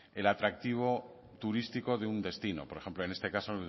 el atractivo turístico de un destino por ejemplo en este caso